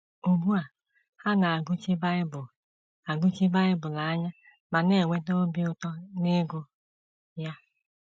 Ugbu a, ha na - agụchi Bible - agụchi Bible anya ma na - enweta obi ụtọ n’ịgụ ya.